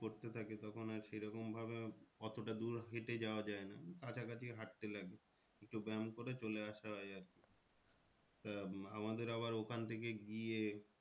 পড়তে থাকে তখন আর সেরকম ভাবে এতটা দূর হেঁটে যাওয়া যায় না। উম কাছাকাছি হাঁটতে লাগি একটু ব্যাম করে চলে আসা হয় আর কি তা আমাদের আবার ওখান থেকে গিয়ে